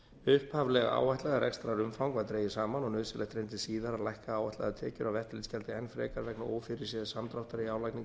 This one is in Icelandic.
upphaflega áætlað rekstrarumfang var dregið saman og nauðsynlegt reyndist síðar að lækka áætlaðar tekjur af eftirlitsgjaldi enn frekar vegna ófyrirséðs samdráttar í